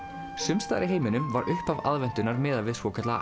sums staðar í heiminum var upphaf aðventunnar miðað við svokallaða